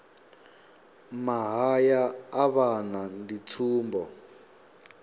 mahaya a vhana ndi tsumbo